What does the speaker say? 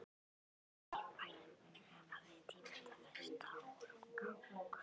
Enginn í bænum hafði tímt að festa á honum kaup.